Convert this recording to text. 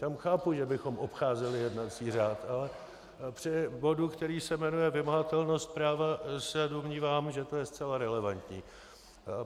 Tam chápu, že bychom obcházeli jednací řád, ale při bodu, který se jmenuje vymahatelnost práva, se domnívám, že to je zcela relevantní.